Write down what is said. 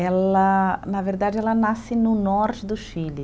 Ela, na verdade, ela nasce no norte do Chile.